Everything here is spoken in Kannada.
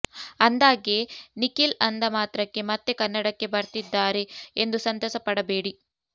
ಅಂದ್ಹಾಗೆ ನಿಖಿಲ್ ಅಂದಮಾತ್ರಕ್ಕೆ ಮತ್ತೆ ಕನ್ನಡಕ್ಕೆ ಬರ್ತಿದ್ದಾರೆ ಎಂದು ಸಂತಸ ಪಡಬೇಡಿ